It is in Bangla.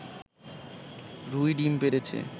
রুই ডিম পেড়েছে